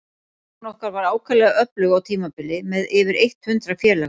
Stúkan okkar var ákaflega öflug á tímabili, með yfir eitt hundrað félaga.